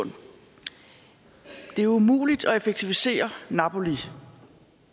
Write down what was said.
det er umuligt at effektivisere napoli